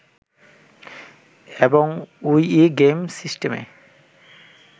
এবং Wii gaming সিস্টেমে